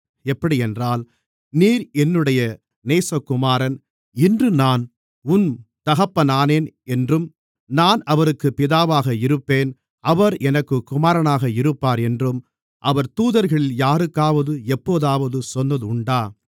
எப்படியென்றால் நீர் என்னுடைய நேசகுமாரன் இன்று நான் உம் தகப்பனானேன் என்றும் நான் அவருக்குப் பிதாவாக இருப்பேன் அவர் எனக்குக் குமாரனாக இருப்பார் என்றும் அவர் தூதர்களில் யாருக்காவது எப்போதாவது சொன்னது உண்டா